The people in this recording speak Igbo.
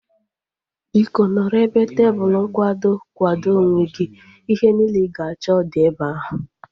Biko, nọrọ ebe tebụlu nkwado kwado onwe gị. Ihe niile ị ga-achọ dị ebe ahu